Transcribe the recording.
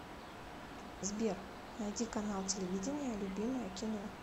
сбер найди канал телевидения любимое кино